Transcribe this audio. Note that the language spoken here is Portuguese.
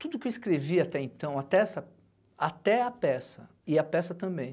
Tudo que eu escrevi até então, até essa, até a peça e a peça também,